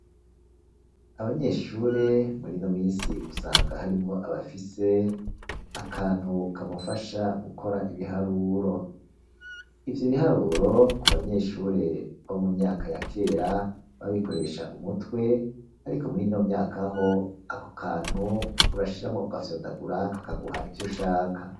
Abanyeshure murino minsi usanga harimwo abafise akantu kamufasha gukora ibiharuro, ivyo biharuro ku banyeshure bo mu myaka yakera, babikoresha umutwe ariko murino myakaho ako kantu urashiramo ugafyondagura kakaguha ivyo ushaka.